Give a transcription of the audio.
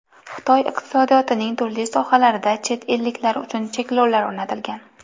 Xitoy iqtisodiyotining turli sohalarida chet elliklar uchun cheklovlar o‘rnatilgan.